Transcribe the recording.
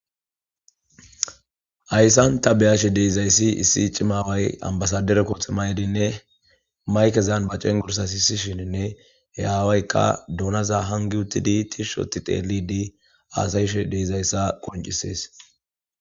Hayssanta beyashe deizayssi issi cimaway ambasadere kotximayedinne maykezan ba cengursa hiisishininne he aawaykka duunaza hangi uttidi tish oti xeelidi aasayishe deizayssa qoncisees.